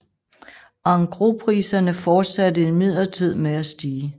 Engrospriserne fortsatte imidlertid med at stige